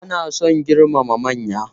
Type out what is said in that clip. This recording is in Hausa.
Ana son girmama manya.